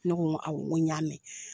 Ne ko nko awɔ n' y'a mɛn